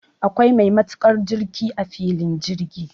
Akwai mai matukan jirki a filin jirgi